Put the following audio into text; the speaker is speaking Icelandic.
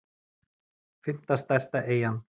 fimmta stærsta eyjan